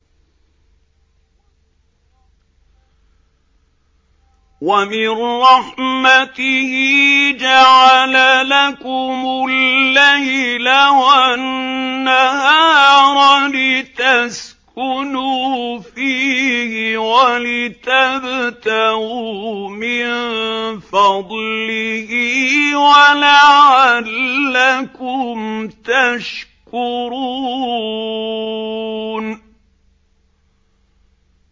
وَمِن رَّحْمَتِهِ جَعَلَ لَكُمُ اللَّيْلَ وَالنَّهَارَ لِتَسْكُنُوا فِيهِ وَلِتَبْتَغُوا مِن فَضْلِهِ وَلَعَلَّكُمْ تَشْكُرُونَ